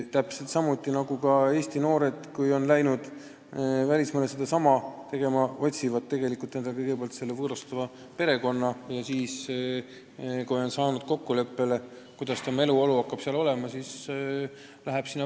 Täpselt samuti nagu Eesti noored, kes on läinud välismaale sedasama tööd tegema, otsib tema endale kõigepealt võõrustava perekonna ja kui on saanud kokkuleppele, kuidas hakkab tema eluolu seal olema, siis ta sõidab kohale.